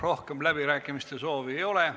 Rohkem läbirääkimiste soovi ei ole.